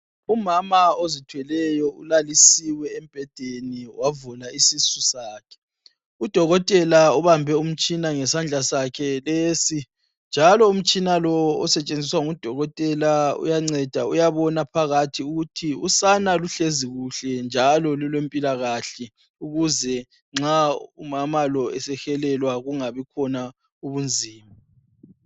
Umama ozithweleyo ulalisiwe embhedeni wavula isisu sakhe. UDokotela ubambe umtshina ngesandla sakhe lesi njalo umtshina lowo osetshenziswa nguDokotela uyanceda uyabona phakathi ukuthi usana luhlezi kuhle njalo lule mpilakahle ukuze nxa umama lo esehelelwa kungabi khona ubunzima.